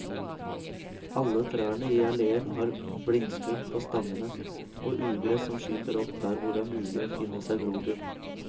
Alle trærne i alleen har blindskudd på stammene, og ugress som skyter opp der hvor det er mulig å finne seg grobunn.